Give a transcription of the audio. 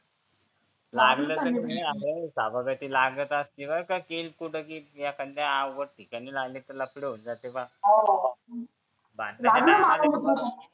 लागलं सभागाती लागत असत बर का केस एखांदी अवघड ठिकाणी लागले त लफडे होऊन जाते मग